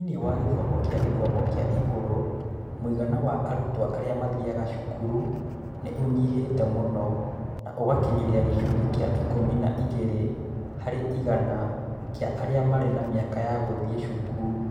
Thĩinĩ wa gĩthomo kĩa gĩthomo kĩa igũrũ, mũigana wa arutwo arĩa mathiaga cukuru nĩ ũnyihĩte mũno na ũgakinyĩra gĩcunjĩ kĩa ikũmi na igĩrĩ harĩ igana kĩa arĩa marĩ na mĩaka ya gũthiĩ cukuru.